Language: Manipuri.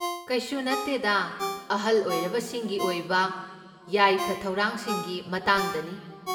ꯀꯩꯁꯨ ꯅꯠꯇꯦꯗꯥ, ꯑꯍꯜ ꯑꯣꯏꯔꯕꯁꯤꯡꯒꯤ ꯑꯣꯏꯕ ꯌꯥꯏꯐ ꯊꯧꯔꯥꯡꯁꯤꯡꯒꯤ ꯃꯇꯥꯡꯗꯅꯤ꯫